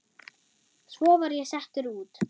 Svo var ég settur út.